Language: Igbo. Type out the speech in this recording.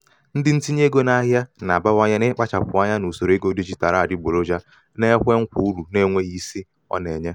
ndị ntinye ego n'ahịa na-abawanye n'ịkpachapụ anya n'usoro ego dijitalụ adịgboloja na-ekwe nkwa uru na-enweghị isi uru na-enweghị isi ọ na-enye.